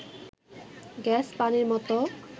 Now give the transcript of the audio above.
gas, পানির মতো